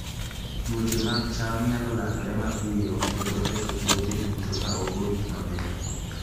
Tuoche mag cham nyalo landore mapiyo kendo ketho puothe duto ka ok orit maber.